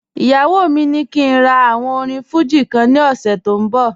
Iyawọ mi ni kí n rà àwòn orín Fuji kan ní òṣè tó n bọ̀